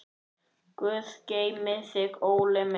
Guð geymi þig, Óli minn.